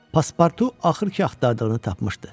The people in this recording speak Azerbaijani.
Paspartu axır ki axtardığını tapmışdı.